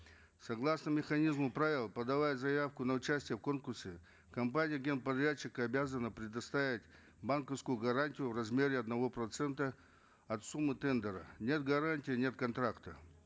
согласно механизму правил подавать заявку на участие в конкурсе компания генподрядчика обязана предоставить банковскую гарантию в размере одного процента от суммы тендера нет гарантии нет контракта